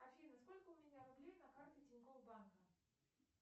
афина сколько у меня рублей на карте тинькофф банка